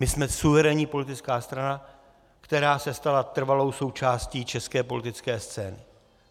My jsme suverénní politická strana, která se stala trvalou součástí české politické scény.